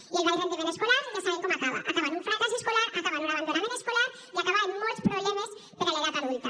i el baix rendiment escolar ja sabem com acaba acaba en un fracàs escolar acaba en un abandonament escolar i acaba en molts problemes per a l’edat adulta